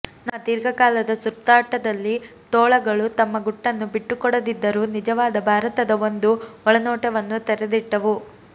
ನಮ್ಮ ದೀರ್ಘಕಾಲದ ಸುತ್ತಾಟದಲ್ಲಿ ತೋಳಗಳು ತಮ್ಮ ಗುಟ್ಟನ್ನು ಬಿಟ್ಟುಕೊಡದಿದ್ದರೂ ನಿಜವಾದ ಭಾರತದ ಒಂದು ಒಳನೋಟವನ್ನು ತೆರೆದಿಟ್ಟವು